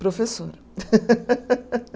Professora.